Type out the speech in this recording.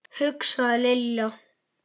hugsaði Lilla.